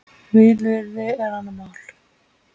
Vilyrði er annað mál.